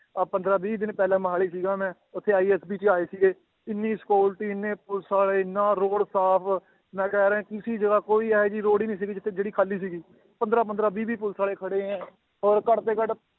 ਆਹ ਪੰਦਰਾਂ ਵੀਹ ਦਿਨ ਪਹਿਲਾਂ ਮੋਹਾਲੀ ਸੀਗਾ ਮੈਂ ਉੱਥੇ ISP ਜੀ ਆਏ ਸੀਗੇ ਇੰਨੀ security ਇੰਨੇ ਪੁਲਿਸ ਵਾਲੇ ਇੰਨਾ road ਸਾਫ਼ ਮੈਂ ਕਹਿ ਰਿਹਾਂ ਕਿਸੇ ਜਗ੍ਹਾ ਕੋਈ ਇਹ ਜਿਹੀ road ਹੀ ਨੀ ਸੀਗੀ ਜਿੱਥੇ ਜਿਹੜੀ ਖਾਲੀ ਸੀਗੀ ਪੰਦਰਾਂ ਪੰਦਰਾਂ ਵੀਹ ਵੀਹ ਪੁਲਿਸ ਵਾਲੇ ਖੜੇ ਹੈ ਔਰ ਘੱਟ ਤੋਂ ਘੱਟ